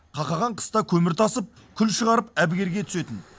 қақаған қыста көмір тасып күл шығарып әбігерге түсетін